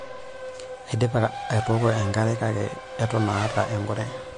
Aidipa atooko enkare kake eton aata enkure.